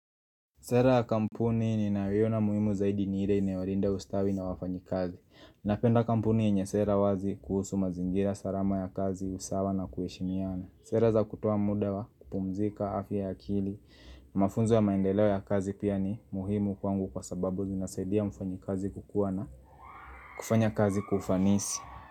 Sera ya kampuni ni naiyo na muhimu zaidi ni hile inewarinda ustawi na wafanyi kazi. Napenda kampuni yenye sera wazi kuhusu mazingira salama ya kazi usawa na kuheshimiana. Sera za kutoa muda wa, kupumzika, afya akili, mafunzo ya maendeleo ya kazi pia ni muhimu kwangu kwa sababu zinasaidia mfanyi kazi kukuwa na kufanya kazi kufanisi.